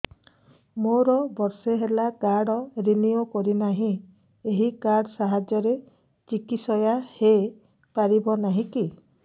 ମୋର ବର୍ଷେ ହେଲା କାର୍ଡ ରିନିଓ କରିନାହିଁ ଏହି କାର୍ଡ ସାହାଯ୍ୟରେ ଚିକିସୟା ହୈ ପାରିବନାହିଁ କି